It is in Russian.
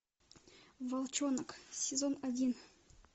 волчонок сезон один